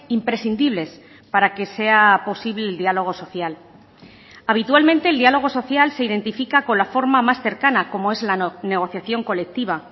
imprescindibles para que sea posible el diálogo social habitualmente el diálogo social se identifica con la forma más cercana como es la negociación colectiva